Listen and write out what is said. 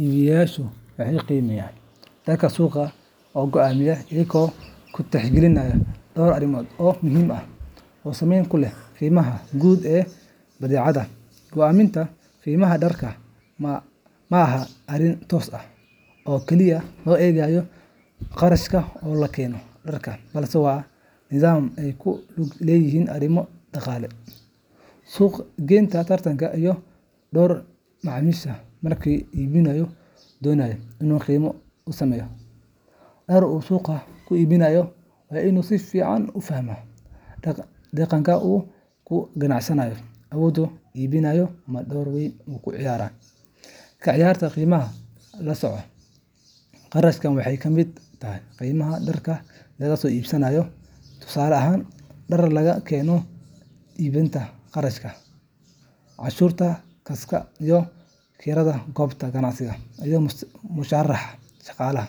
Iibiyeyaashu waxay qiimaha dharka suuqa u go’aamiyaan iyaga oo tixgelinaya dhowr arrimood oo muhiim ah oo saameyn ku leh qiimaha guud ee badeecadda. Go'aaminta qiimaha dharka ma aha arrin toos ah oo kaliya laga eegayo kharashka lagu keenay dharka, balse waa nidaam ay ku lug leeyihiin arrimo dhaqaale, suuq-geyn, tartan, iyo dookha macaamiisha. Marka iibiyuhu doonayo inuu qiime u sameeyo dhar uu suuqa ku iibinayo, waa inuu si fiican u fahmaa deegaanka uu ka ganacsanayo, awoodda iibsiga ee bulshada, iyo heerka tartanka ee ka jira suuqa. Marka hore, kharashka guud ee dharka lagu helo ayaa door weyn ka ciyaara qiimaha la saaro. Kharashkaas waxaa ka mid ah qiimaha dharka laga soo iibsaday tusaale ahaan, dhar laga keeno dibadda, kharashka gaadiidka, cashuuraha kastamka, kirada goobta ganacsiga, iyo mushaharka shaqaalaha